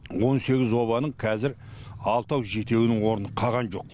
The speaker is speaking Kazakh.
он сегіз обаның қазір алтау жетеуінің орны қаған жоқ